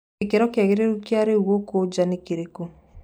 gĩkĩro kĩaũrũgarĩ kia riu guku ja ni kirikũ